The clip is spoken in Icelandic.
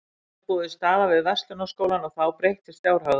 Svo var mér boðin staða við Verslunarskólann og þá breyttist fjárhagurinn.